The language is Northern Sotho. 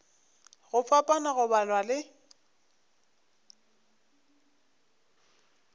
go fapana go balwa le